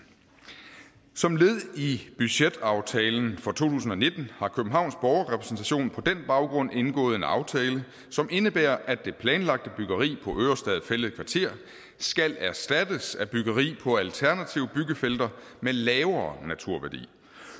som led i budgetaftalen for to tusind og nitten har københavns borgerrepræsentation på den baggrund indgået en aftale som indebærer at det planlagte byggeri på ørestad fælled kvarter skal erstattes af byggeri på alternative byggefelter med lavere naturværdi